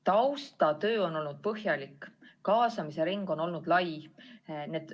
Taustatöö on olnud põhjalik, kaasamisring on olnud lai.